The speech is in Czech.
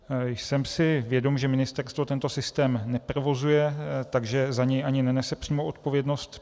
Jsem si vědom, že ministerstvo tento systém neprovozuje, takže za ně ani nenese přímou odpovědnost.